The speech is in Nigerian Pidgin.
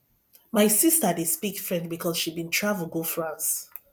my sista dey speak french because she bin travel go france